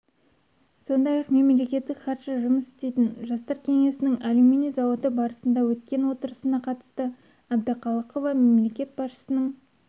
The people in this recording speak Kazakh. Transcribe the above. сондай-ақ мемлекеттік хатшы жұмыс істейтін жастар кеңесінің алюминий зауыты базасында өткен отырысына қатысты әбдіқалықова мемлекет басшысының